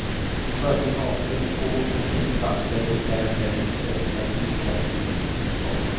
Följden av för få parkeringsplatser blir därmed en ökad biltrafik i innerstaden.